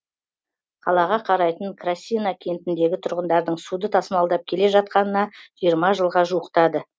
қалаға қарайтын красина кентіндегі тұрғындардың суды тасымалдап келе жатқанына жиырма жылға жуықтады